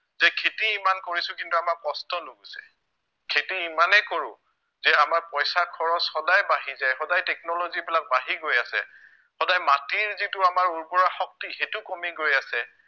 যে খেতি ইমান কৰিছো কিন্তু আমাৰ কষ্ট নোগোচে, খেতি ইমানেই কৰো যে আমাৰ পইচা খৰচ সদায় বাঢ়ি যায়, সদায় technology বিলাক বাঢ়ি গৈ আছে সদায় মাটিৰ যিটো আমাৰ উৰ্বৰা শক্তি সেইটো কমি গৈ আছে